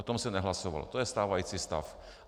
O tom se nehlasovalo, to je stávající stav.